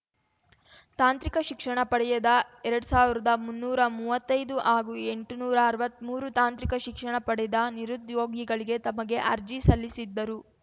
ತಾಂತ್ರಿಕ ಶಿಕ್ಷಣ ಪಡೆಯದ ಎರಡ್ ಸಾವಿರದ ಮುನ್ನೂರಾ ಮೂವತ್ತೈದು ಹಾಗೂ ಎಂಟುನೂರಾ ಅರ್ವತ್ಮೂರು ತಾಂತ್ರಿಕ ಶಿಕ್ಷಣ ಪಡೆದ ನಿರುದ್ಯೋಗಿಗಳಿಗೆ ತಮಗೆ ಅರ್ಜಿ ಸಲ್ಲಿಸಿದ್ದರು